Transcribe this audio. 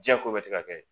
Diɲɛ ko bɛɛ tɛ ka kɛ